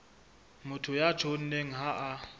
motho ya tjhonneng ha a